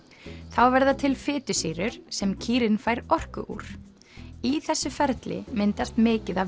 þá verða til fitusýrur sem kýrin fær orku úr í þessu ferli myndast mikið af